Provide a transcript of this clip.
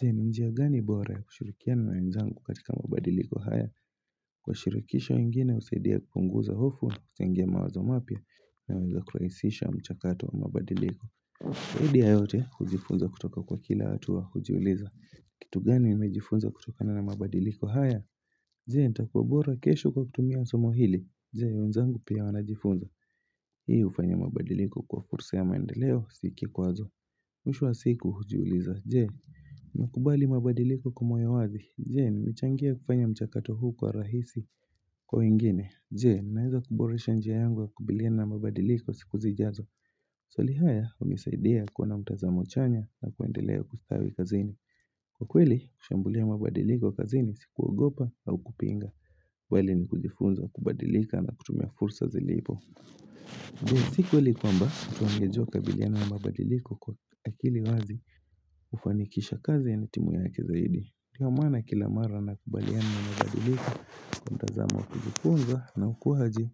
Je, njia gani bora ya kushurikiana na nainzangu katika mabadiliko haya? Kwa shurikisha wa ingine, usaidia kukunguza hofu, sengema wazo mapia, naeweza kwa isisha mchakatu wa mabadiliko. Hidi ya yote, hujifunza kutoka kwa kila hatua, hujiuliza. Kitu gani, naewejifunza kutokana na mabadiliko haya? Je nitakuabora kesho kwa kutumia somohili jen unzangu pia wanajifunza. Hii ufanya mabadiliko kwa fursa ya maendeleo siki kwazo. Mshu wa siku hujiuliza jen nakubali mabadiliko kumoyowazi jen nchangia kufanya mchakato huu kwa rahisi kwa ingine jen naiza kuboresha njia yangwa kubilina mabadiliko siku zijazo. Swalihaya umisaidia kuna mtazamo chanya na kuendeleo kustawi kazini kwa kwili kushambulia mabadiliko kazini sikuwa gopa au kupinga. Wali ni kujifunza kubadilika na kutumia fursa zilipo Dwe siku wali kwamba tuangejua kabiliyana ambabadiliko kwa akili wazi. Ufanikisha kazi ya nitimu ya kizaidi liyo mana kila mara na kubaliyana ambabadilika Kuntazama kujifunza na ukuhaji.